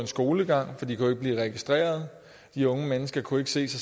skolegang for de kunne ikke blive registreret de unge mennesker kunne ikke se